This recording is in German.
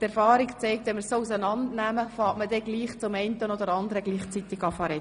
Die Erfahrung zeigt, dass man doch ab und zu beginnt, über verschiedene Punkte gleichzeitig zu sprechen.